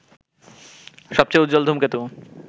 সবচেয়ে উজ্জ্বল ধূমকেতু